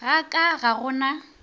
ga ka ga go na